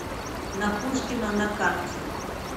на пушкина на карте